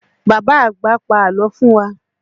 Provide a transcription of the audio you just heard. Bàbá àgbà pa àlọ́ fún wa.